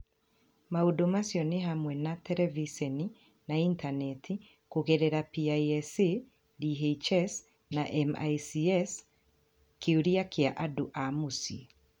Maũndũ macio nĩ hamwe na terebiceni na Intaneti kũgerera PISA, DHS, na MICS kĩũria kĩa andũ a mũciĩ.